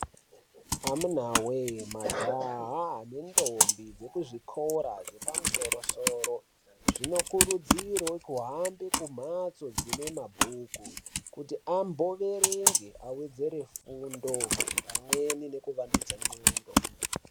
Amunawe majaha ne ndombi dze kuzvikora zve pamusoro soro zvino kurudzirwe kuhambe kumhatso dzine mabhuku kuti ambo werenge awedzere fundo pamweni neku wandudza ndxondo.